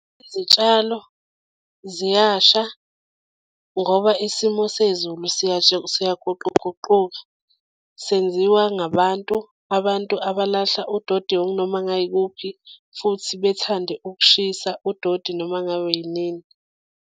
Izitshalo ziyasha ngoba isimo sezulu siyaguquguquka. Senziwa ngabantu, abantu abalahla udodi okunoma ngayikuphi futhi bethande ukushisa udodi noma ngayinini.